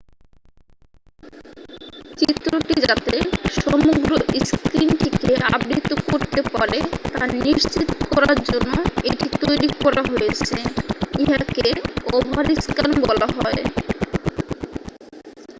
চিত্রটি যাতে সমগ্র স্ক্রিনটিকে আবৃত করতে পারে তা নিশ্চিৎ করার জন্য এটি তৈরি করা হয়েছে ইহাকে ওভারস্ক্যান বলা হয়